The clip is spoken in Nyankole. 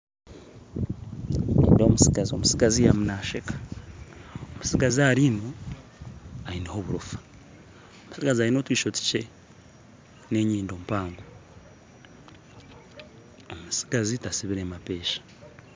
Nindeeba omutsigazi, omutsigazi arimu nasheeka, omutsigazi aha riino ayineho oburoofa aine otwisho tukye n'enyindo mpango omutsigazi tatsibire mapeesha